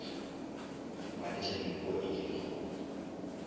ba letša dinko eke dikgomo